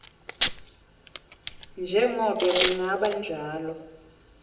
njengobe kungaba njalo